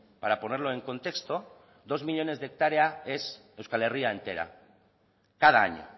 para ponerlo en contexto dos millónes de hectárea es euskal herria entera cada año